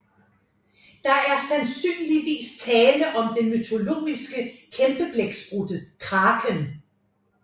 Der er sandsynligvis tale om den mytologiske kæmpeblæksprutte Kraken